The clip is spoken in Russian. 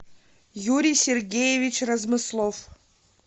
юрий сергеевич размыслов